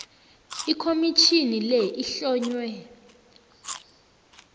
ikhomitjhini le ihlonywe